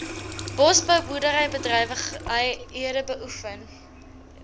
bosbou boerderybedrywighede beoefen